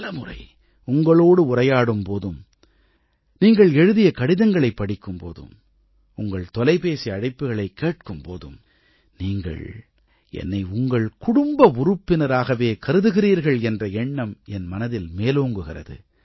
பலமுறை உங்களோடு உரையாடும் போதும் நீங்கள் எழுதிய கடிதங்களைப் படிக்கும் போதும் உங்கள் தொலைபேசி அழைப்புக்களைக் கேட்கும் போதும் நீங்கள் என்னை உங்கள் குடும்ப உறுப்பினராகவே கருதுகிறீர்கள் என்ற எண்ணம் என் மனதில் மேலோங்குகிறது